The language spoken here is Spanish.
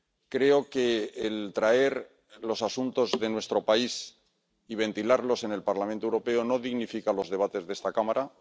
Creo que el traer los asuntos de nuestro país y ventilarlos en el Parlamento Europeo no dignifica los debates de esta Cámara.